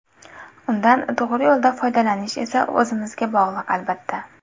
Undan to‘g‘ri yo‘lda foydalanish esa o‘zimizga bog‘liq, albatta.